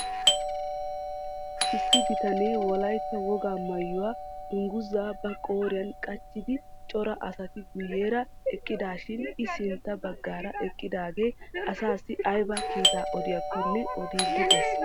Issi bitanee wollaytta wogaa maayuwaa dunguzzaa ba qooriyaan qaachchidi coora asati guyyeera eqqidaashin i sintta baggaara eqqidaagee asaasi aybaa kiittaa odiyaakonne odiidi de'ees.